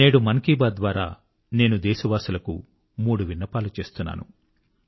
నేడు మన్ కీ బాత్ ద్వారా నేను దేశవాసులకు 3 విన్నపాలు చేస్తున్నాను